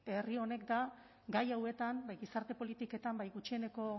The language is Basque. herri honek da gai hauetan bai gizarte politiketan bai gutxieneko